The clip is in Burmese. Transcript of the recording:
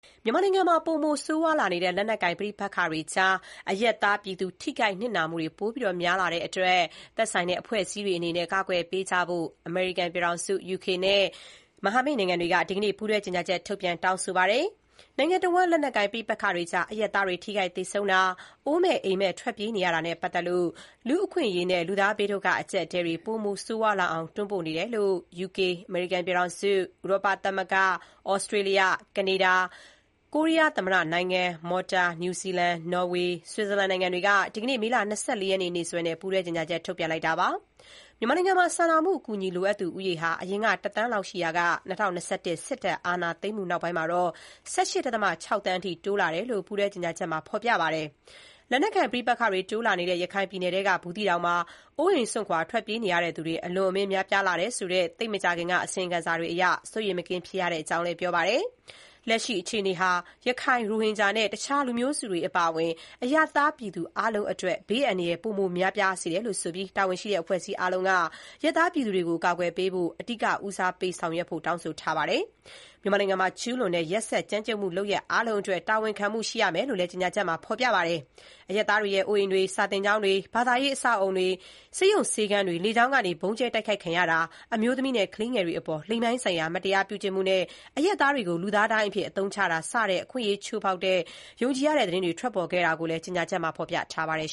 မြန်မာနိုင်ငံမှာ ပိုမိုဆိုးရွားလာနေတဲ့ လက်နက်ကိုင် ပဋိပက္ခတွေမှာ အရပ်သား အရပ်သားပြည်သူ ထိခိုက်နစ်နာမှုပိုများလာတဲ့အတွက် တာဝန်ရှိတဲ့ အဖွဲ့အစည်းတွေအနေနဲ့ အကာအကွယ်ပေးဖို့ အမေရိကန်နဲ့ မဟာမိတ်နိုင်ငံတွေက ဒီကနေ့ ပူးတွဲ ကြေညာချက်ထုတ်ပြန် တောင်းဆိုလိုက်ပါတယ်။ နိုင်ငံတဝန်း လက်နက်ကိုင် ပဋိပက္ခတွေအကြား အရပ်သားတွေ ထိခိုက်သေဆုံးတာ၊ အိုးမဲ့အိမ်မဲ့ ထွက်ပြေးနေရတာနဲ့ ပတ်သက်လို့ လူ့အခွင့်အရေးနဲ့ ဘေးဒုက္ခအကျပ်အတည်းတွေ ပိုမို ဆိုးရွားလာအောင် တွန်းပို့နေတယ်လို့ ယူကေ၊ အမေရိကန်ပြည်ထောင်စု၊ ဥရောပသမဂ္ဂ၊ သြစတြေးလျ၊ ကနေဒါ၊ ကိုရီးယားသမ္မတနိုင်ငံ၊ မော်တာ၊ နယူးဇီလန်၊ နော်ဝေ၊ ဆွစ်ဇာလန် နိုင်ငံတွေက ဒီနေ့ မေလ ၂၄ ရက်နေ့စွဲနဲ့ ပူးတွဲကြေညာချက် ထုတ်ပြန်ပါတယ်။ မြန်မာနိုင်ငံမှာ စာနာမှု အကူအညီ လိုအပ်သူ ဦးရေဟာ အရင်က ၁ သန်းလောက် ရှိရာကနေ ၂၀၂၁ စစ်တပ် အာဏာသိမ်းမှု နောက်ပိုင်းမှာတော့ ၁၈.၆ သန်းအထိ တိုးလာတယ်လို့ ပူးတွဲ ထုတ်ပြန်ချက်မှာ ထောက်ပြပါတယ်။ လက်နက်ကိုင် ပဋိပက္ခတွေ တိုးလာနေတဲ့ ရခိုင်ပြည်နယ်ထဲက ဘူးသီးတောင်မှာ အိုးအိမ်စွန့်ခွာ ထွက်ပြေးရသူတွေ အလွန်အမင်း များပြားလာတယ် ဆိုတဲ့ သိပ်မကြာခင်က အစီရင်ခံစာတွေအရ စိုးရိမ်မကင်းဖြစ်ရကြောင်းလည်း ပြောပါတယ်။ လက်ရှိ အခြေအနေဟာ ရခိုင် ၊ ရိုဟင်ဂျာနဲ့ အခြားလူမျိုးစုတွေ အပါအဝင် အရပ်သားပြည်သူ အားလုံးအတွက် ဘေးအန္တရာယ် ပိုမို များပြားစေတယ်လို့ ဆိုပြီး တာဝန်ရှိတဲ့ အဖွဲ့အစည်း အားလုံးက အရပ်သားပြည်သူတွေကို အကာအကွယ်ပေးဖို့ အဓိက ဦးစားပေးဖို့လည်း တောင်းဆိုထားပါတယ်။ မြန်မာနိုင်ငံမှာ ကျူးလွန်တဲ့ ရက်စက်ကြမ်းကြုတ်မှု လုပ်ရပ် အားလုံးအတွက် တာဝန်ခံမှု ရှိရမယ်လို့လည်း ကြေညာချက်မှာ ဖော်ပြပါတယ်။ အရပ်သားတွေရဲ့ အိုးအိမ်တွေ၊ စာသင်ကျောင်းတွေ၊ ဘာသာရေး အဆောက်အဦတွေ၊ ဆေးရုံဆေးခန်းတွေ လေကြောင်းကနေ ဗုံးကြဲ တိုက်ခိုက်ခံရတာ၊ အမျိုးသမီးနဲ့ ကလေးငယ်တွေအပေါ် လိင်ပိုင်းဆိုင်ရာ မတရားပြုကျင့်မှုနဲ့ အရပ်သားတွေကို လူသားဒိုင်းအဖြစ်အသုံးချတာ စတဲ့ အခွင့်အရေးချိုးဖောက်တဲ့ ယုံကြည်ရတဲ့ သတင်းတွေ ပေါ်ထွက်ခဲ့တာကိုလည်း ကြေညာချက်မှာ ဖော်ပြထားပါတယ်